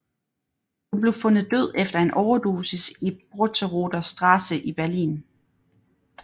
Hun blev fundet død efter en overdosis i Brotteroder Straße i Berlin